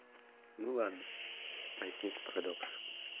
ну ладно возник парадокс